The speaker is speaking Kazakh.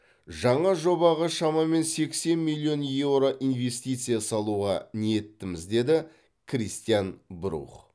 жаңа жобаға шамамен сексен миллион еуро инвестиция салуға ниеттіміз деді кристиан брух